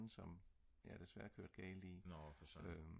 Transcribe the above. som jeg desværre kørte galt i